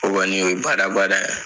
O kɔni o ye badabada ye.